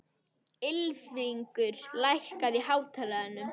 Ylfingur, lækkaðu í hátalaranum.